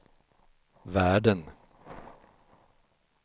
världen